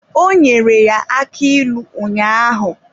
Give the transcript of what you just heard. Ọ nyere ya aki ilu ụnyaahụ.